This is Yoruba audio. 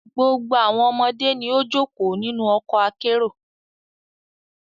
Gbogbo awọn ọmọde ni o joko ninu ọkọ akero